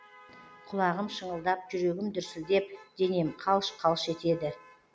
құлағым шыңылдап жүрегім дүрсілдеп денем қалш қалш етеді